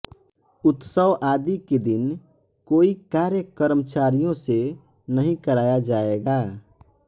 उत्सव आदि के दिन कोई कार्य कर्मचारियों से नहीं कराया जायेगा